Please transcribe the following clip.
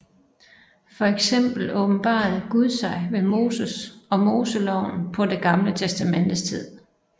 For eksempel åbenbarede Gud sig ved Moses og Moseloven på Det Gamle Testamentes tid